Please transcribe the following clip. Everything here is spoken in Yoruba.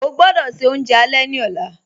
Ọ̀ gbọdọ́ ṣẹ ọ̀unjẹ alẹ̀ ni ọ̀la